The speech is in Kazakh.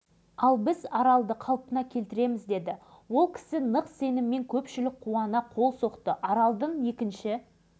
мәселе үкіметтің күн тәртібіне қойылды жер бетінде талай көлдер мен теңіздер тартылып кеткен бірақ оларды бірде-бір